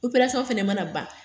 Operasɔn fana mana ban.